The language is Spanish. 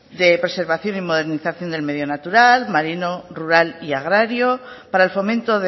de preservación y modernización del medio natural marino rural y agrario para el fomento